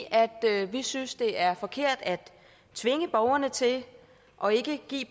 vi synes det er forkert at tvinge borgerne til det og ikke give